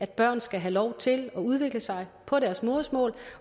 børn skal have lov til at udvikle sig på deres modersmål